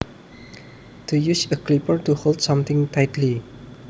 To use a clipper to hold something tightly